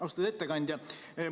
Austatud ettekandja!